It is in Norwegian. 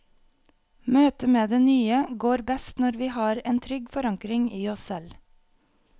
Møtet med det nye går best når vi har en trygg forankring i oss selv.